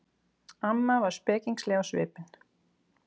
Amma var spekingsleg á svipinn.